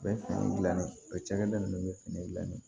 U bɛ fini gilan ni o cakɛda nunnu be fini gilan